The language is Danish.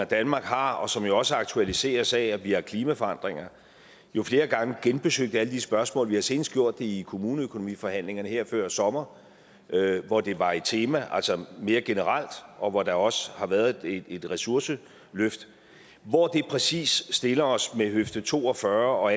danmark har og som jo også aktualiseres af at vi har klimaforandringer flere gange genbesøgt alle de spørgsmål og vi har senest gjort det i kommuneøkonomiforhandlingerne her før sommer hvor det var et tema altså mere generelt og hvor der også har været et ressourceløft hvor det præcis stiller os med høfde to og fyrre og